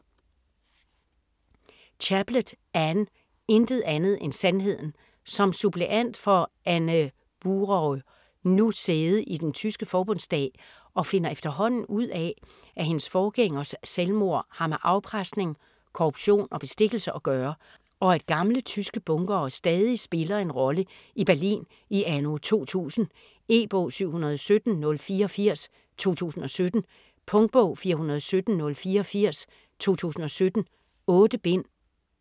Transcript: Chaplet, Anne: Intet andet end sandheden Som suppleant får Anne Buraü nu sæde i den tyske Forbundsdag og finder efterhånden ud af, at hendes forgængers selvmord har med afpresning, korruption og bestikkelse at gøre, og at gamle tyske bunkere stadig spiller en rolle i Berlin i anno 2000. E-bog 717084 2017. Punktbog 417084 2017. 8 bind.